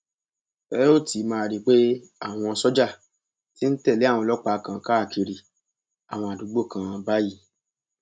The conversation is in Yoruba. ẹ óò ti máa rí i pé àwọn sójà ti ń tẹlé àwọn ọlọpàá kan káàkiri àwọn àdúgbò kan báyìí